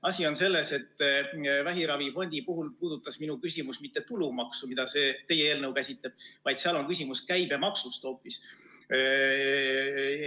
Asi on selles, et vähiravifondi puhul ei puudutanud minu küsimus mitte tulumaksu, mida teie eelnõu käsitleb, vaid seal on küsimus hoopis käibemaksus.